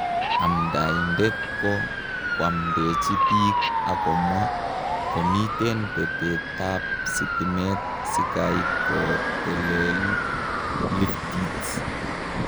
Amdaitet ko kwamdeji pik ak komwa ,"komiten petet ap stimet sikai kotelel liftit.,"